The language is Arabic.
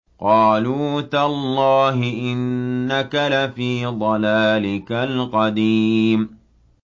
قَالُوا تَاللَّهِ إِنَّكَ لَفِي ضَلَالِكَ الْقَدِيمِ